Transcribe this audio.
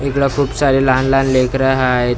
हिकडं खूप सारी लहान लहान लेकरं हाएत माणसं--